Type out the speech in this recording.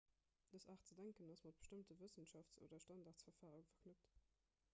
dës aart ze denken ass mat bestëmmte wëssenschafts oder standardverfare verknëppt